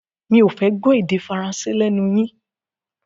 Mi ò fẹ́ gbọ́ èdè Faransé lẹ́nu yín!